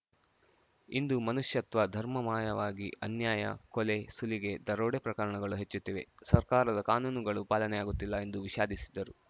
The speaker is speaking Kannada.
ಇಂದು ಮನುಷ್ಯತ್ವ ಧರ್ಮ ಮಾಯವಾಗಿ ಅನ್ಯಾಯ ಕೊಲೆ ಸುಲಿಗೆ ದರೋಡೆ ಪ್ರಕರಣಗಳು ಹೆಚ್ಚುತ್ತಿವೆ ಸರ್ಕಾರದ ಕಾನೂನುಗಳು ಪಾಲನೆಯಾಗುತ್ತಿಲ್ಲ ಎಂದು ವಿಷಾದಿಸಿದರು